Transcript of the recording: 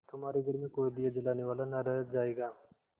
तुम्हारे घर में कोई दिया जलाने वाला न रह जायगा